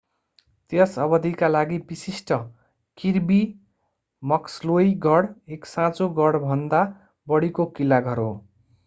त्यस अवधिका लागि विशिष्ट किर्बी मक्सलोई गढ एक साँचो गढभन्दा बढीको किल्ला घर हो